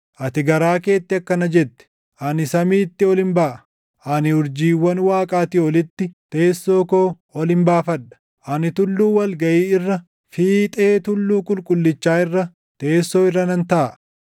Ati garaa keetti akkana jette; “Ani samiitti olin baʼa; ani urjiiwwan Waaqaatii olitti teessoo koo olin baafadha; ani tulluu wal gaʼii irra, fiixee tulluu qulqullichaa irra teessoo irra nan taaʼa.